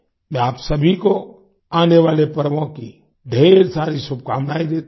मैं आप सभी को आने वाले पर्वों की ढेर सारी शुभकामनाएँ देता हूँ